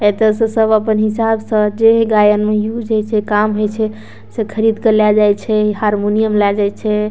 एता से सब अपन हिसाब से जे गायन मे यूज होय छै काम होय छै सब खरीद के ले जाय छै इ हारमोनियम ले जाय छै।